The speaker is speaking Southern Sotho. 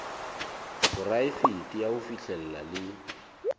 poraefete ya ho fihlella le